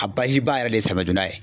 A baji ba yɛrɛ de samaya donda ye.